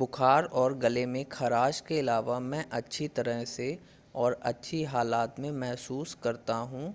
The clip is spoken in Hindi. बुखार और गले में खराश के अलावा मैं अच्छी तरह से और अच्छी हालत में महसूस करता हूं